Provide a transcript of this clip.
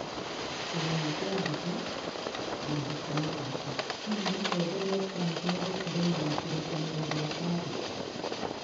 Kĩhumo kĩa mbica, mwandĩko ma mbica, Hihi Mũtongoria Trump nĩ egũtigana na Kĩrĩĩkanĩro kĩa Paris?